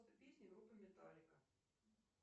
песню группы металлика